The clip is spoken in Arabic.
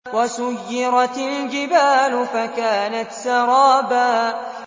وَسُيِّرَتِ الْجِبَالُ فَكَانَتْ سَرَابًا